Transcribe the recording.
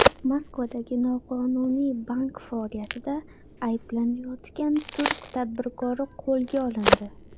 Moskvada noqonuniy bank faoliyatida ayblanayotgan turk tadbirkori qo‘lga olindi.